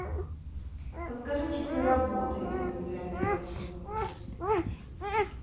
подскажи часы работы этих библиотек